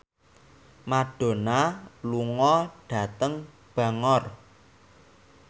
Madonna lunga dhateng Bangor